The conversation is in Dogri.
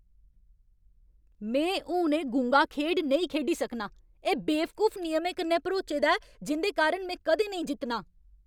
में हून एह् गुंगा खेढ नेईं खेढी सकनां। एह् बेवकूफ नियमें कन्नै भरोचे दा ऐ जिं'दे कारण में कदें नेईं जित्तनां।